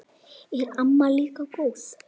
Er amma líka góð?